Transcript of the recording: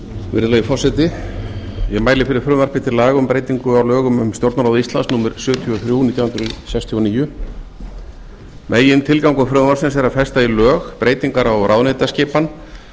virðulegi forseti ég mæli fyrir frumvarpi til laga um breytingu á lögum um stjórnarráð íslands númer sjötíu og þrjú nítján hundruð sextíu og níu megintilgangur frumvarpsins er að festa í lög breytingar á ráðuneytaskipan